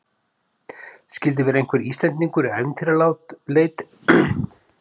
Skildi vera einhver Íslendingur í ævintýraleit sem hefur áhuga á að spila með erlendu félagi?